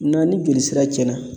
Ŋa ni joli sira cɛnna